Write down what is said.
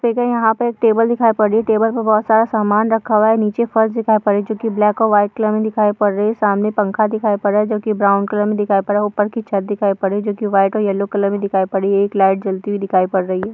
देखे यहाँ पर एक टेबल दिखाई पड़ रही है। टेबल पर बहुत सारा सामान रखा हुआ है। नीचे फर्श दिखाई पड़ रही है जो की ब्लैक और व्हाइट कलर मे दिखाई पड़ रही है। सामने पंखा दिखाई पड़ रहा है जो की ब्राउन कलर मे दिखाई पड़ रहा है। ऊपर छत दिखाई पड़ रही है जो की व्हाइट और येलो कलर मे दिखाई पड़ रही है। एक लाइट जलती हुई दिखाई पड़ रही है।